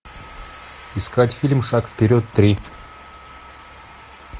искать фильм шаг вперед три